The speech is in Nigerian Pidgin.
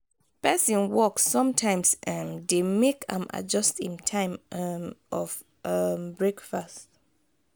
pesin work sometimes um dey make am adjust im time um of um breakfast.